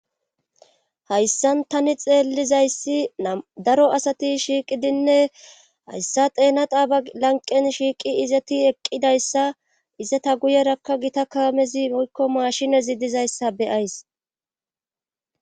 hayssan tani xeellizayssi daro asati shiiqidinne hayssa teena taaba lanqen shiiqi izeti eqqidayssa izeta guyerakka gita kaamezi oykko maashine zi dizayssa beyays